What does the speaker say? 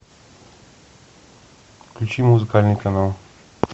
включи музыкальный канал